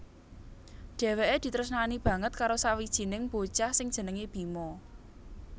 Dheweke ditresnani banget karo sawijining bocah sing jenenge Bima